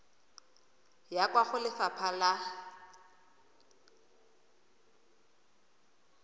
ya kwa go lefapha la